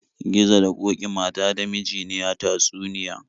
Gizo da ƙoki mata da miji ne a tatsuniya.